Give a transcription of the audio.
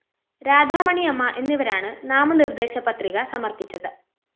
രാധാമണിയമ്മ എന്നിവരാണ് നാമനിര്‍ദ്ദേശപത്രിക സമര്‍പ്പിച്ചത്